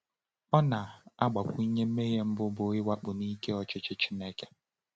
Ọ na-agbakwunye: “Mmehie mbụ bụ mwakpo n’ike ọchịchị Chineke.”